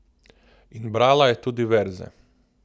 In brala je tudi verze!